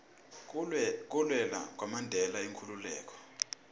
kulwela kwamandela inkhululeko